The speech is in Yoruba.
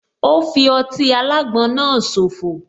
Ò fi ọtí alágbon náà so fò